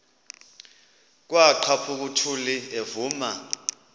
kwaqhaphuk uthuli evuma